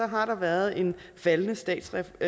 har der været en faldende statsrefusion